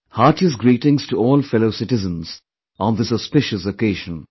Heartiest greetings to all fellow citizens on this auspicious occasion